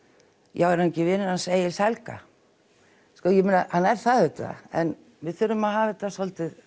já er hann ekki vinur Egils Helga ég meina hann er það auðvitað en við þurfum að hafa þetta svolítið